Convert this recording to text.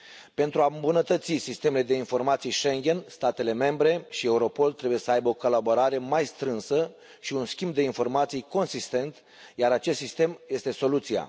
Pentru a îmbunătăți sistemele de informații Schengen, statele membre și Europol trebuie să aibă o colaborare mai strânsă și un schimb de informații consistent, iar acest sistem este soluția.